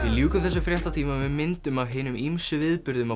ljúkum þessum fréttatíma með myndum af hinum ýmsu viðburðum á